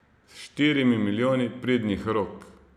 S štirimi milijoni pridnih rok.